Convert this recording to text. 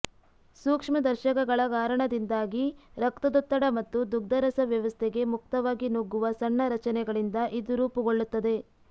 ಸೂಕ್ಷ್ಮ ದರ್ಶಕಗಳ ಕಾರಣದಿಂದಾಗಿ ರಕ್ತದೊತ್ತಡ ಮತ್ತು ದುಗ್ಧರಸ ವ್ಯವಸ್ಥೆಗೆ ಮುಕ್ತವಾಗಿ ನುಗ್ಗುವ ಸಣ್ಣ ರಚನೆಗಳಿಂದ ಇದು ರೂಪುಗೊಳ್ಳುತ್ತದೆ